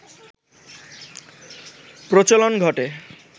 প্রচলন ঘটে